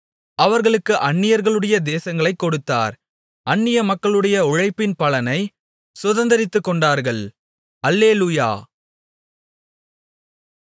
அவர்களுக்கு அந்நியர்களுடைய தேசங்களைக் கொடுத்தார் அந்நிய மக்களுடைய உழைப்பின் பலனைச் சுதந்தரித்துக்கொண்டார்கள் அல்லேலூயா